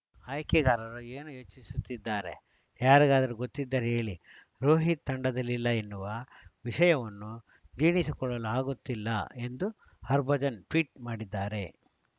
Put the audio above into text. ಆಯ್ಕೆಗಾರರು ಏನು ಯೋಚಿಸುತ್ತಿದ್ದಾರೆ ಯಾರಿಗಾದರೂ ಗೊತ್ತಿದ್ದರೆ ಹೇಳಿ ರೋಹಿತ್‌ ತಂಡದಲ್ಲಿಲ್ಲ ಎನ್ನುವ ವಿಷಯವನ್ನು ಜೀರ್ಣಿಸಿಕೊಳ್ಳಲು ಆಗುತ್ತಿಲ್ಲ ಎಂದು ಹಭರ್ಜನ್‌ ಟ್ವೀಟ್‌ ಮಾಡಿದ್ದಾರೆ